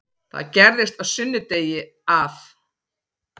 Það gerðist á sunnudegi að